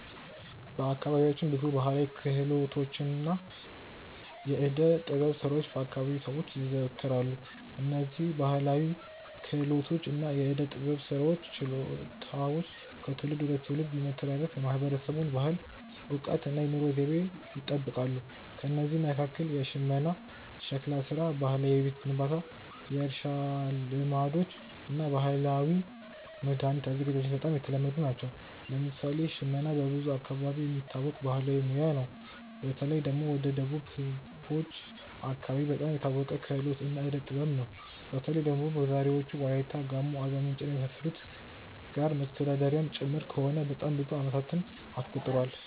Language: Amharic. በአካባቢያችን ብዙ ባሕላዊ ክህሎቶችና የዕደ ጥበብ ሥራዎች በ አከባቢው ሰዎች ይዘወተራሉ። እነዝህ ባህላዊ ክህሎቶች እና የዕዴ ጥበብ ስራዎች ችሎታዎች ከትውልድ ወደ ትውልድ በመተላለፍ የማህበረሰቡን ባህል፣ እውቀት እና የኑሮ ዘይቤ ይጠብቃሉ። ከእነዚህ መካከል ሽመና፣ ሸክላ ሥራ፣ ባህላዊ የቤት ግንባታ፣ የእርሻ ልማዶች እና የባህላዊ መድኃኒት አዘገጃጀት በጣም የተለመዱ ናቸው። ለምሳሌ ሽመና በብዙ አካባቢዎች የሚታወቅ ባህላዊ ሙያ ነው። በተለይ ደግሞ ወደ ደቡብ ህዝቦች አከባቢ በጣም የታወቀ ክህሎት እና ዕዴ ጥበብ ነው። በተለይ ደግሞ በዛሬዎቹ ዎላይታ፣ ጋሞ፣ አርባምንጭ እና የመሳሰሉት ጋር መተዳደሪያም ጭምር ከሆነ በጣም ብዙ አመታትን አስቆጥሯል።